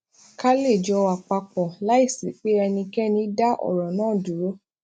ká lè jọ wà pa pò láìsí pé ẹnikéni dá òrò náà dúró